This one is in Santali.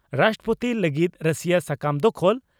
ᱨᱟᱥᱴᱨᱚᱯᱳᱛᱤ ᱞᱟᱹᱜᱤᱫ ᱨᱟᱹᱥᱤᱭᱟᱹ ᱥᱟᱠᱟᱢ ᱫᱟᱠᱷᱚᱞ